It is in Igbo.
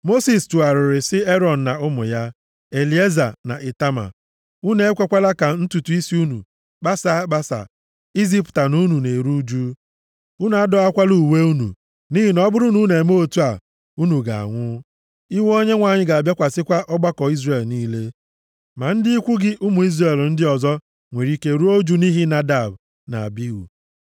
Mosis tụgharịrị sị Erọn na ụmụ ya, Elieza na Itama, “Unu ekwekwala ka ntutu isi unu kpasaa akpasa izipụta na unu na-eru ụjụ. Unu adọwakwala uwe unu. Nʼihi na ọ bụrụ na unu emee otu a, unu ga-anwụ. Iwe Onyenwe anyị ga-abịakwasịkwa ọgbakọ Izrel niile. Ma ndị ikwu gị, ụmụ Izrel ndị ọzọ, nwere ike ruo ụjụ nʼihi Nadab na Abihu.